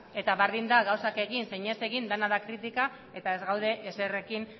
eta berdin da gauzak egin edo ez egin dena da kritika eta ez gaude ezerrekin